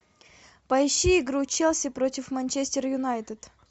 поищи игру челси против манчестер юнайтед